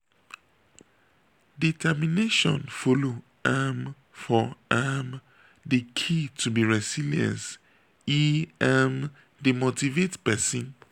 determination follow um for um di key to be resilience e um dey motivate pesin.